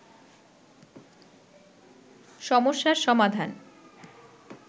সমস্যার সমাধান